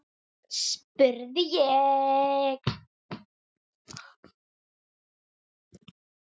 spurði ég.